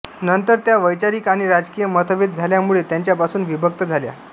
नंतर त्या वैचारिक आणि राजकीय मतभेद झाल्यामुळे त्यांच्यापासून विभक्त झाल्या